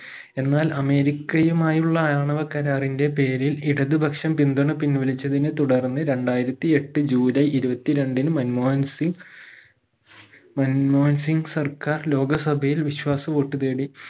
എന്നാൽ അമേരിക്കയുമായുള്ള ആണവ കരാറിന്റെ പേരിൽ ഇടതുപക്ഷം പിന്തുണ പിൻവലിച്ചതിനെ തുടർന്ന് രണ്ടായിരത്തി എട്ട് ജുലൈ ഇരുപത്തി രണ്ടിന് മൻമോഹൻസിംഗ് മൻമോഹൻസിംഗ് സർക്കാർ ലോകസഭയിൽ വിശ്വാസ വോട്ട് നേടി